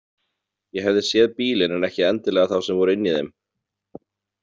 Ég hefði séð bílinn en ekki endilega þá sem voru inni í þeim.